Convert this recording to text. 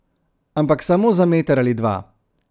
Ampak samo za meter ali dva.